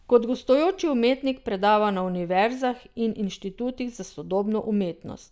Kot gostujoči umetnik predava na univerzah in inštitutih za sodobno umetnost.